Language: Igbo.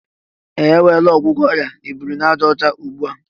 Ehe! E nweela ọgwụgwọ ọrịa obirinajaọcha ugbu a